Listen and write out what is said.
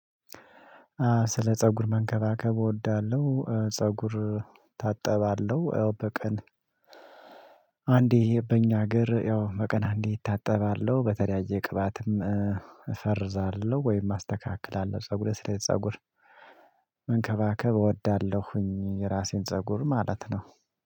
ስለ ፀጉር መንከባከብ እወዳለሁ ፀጉር ታጠባለሁ ያው በቀን አንዴ በእኛ ሀገር ያው በቀን አንዴ እታጠባለሁ በተለያየ ቅባትም እፈርዛለሁ ወይም አስተካክላለሁ ፀጉር ስለ ፀጉር እንከባከብ እወዳለሁኝ የራሴን ፀጉር ማለት ነው።